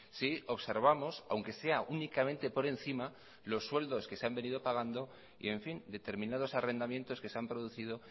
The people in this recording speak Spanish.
si observamos aunque sea únicamente por encima los sueldos que se han venido pagando y en fin determinados arrendamientos que se han producido